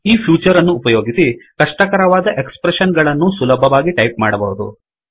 ಈ ಫ್ಯೂಚರ್ ಅನ್ನು ಉಪಯೋಗಿಸಿ ಕಷ್ಟಕರವಾದ ಎಕ್ಸ್ ಪ್ರೆಶ್ಶನ್ಗಳನ್ನೂ ಸುಲಭವಾಗಿ ಟೈಪ್ ಸೆಟ್ ಮಾಡಬಹುದು